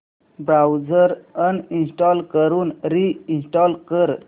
browser uninstall करून reinstall कर